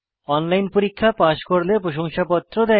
online পরীক্ষা pass করলে প্রশংসাপত্র দেয়